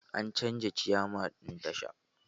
An canja ciyaman ɗin tashar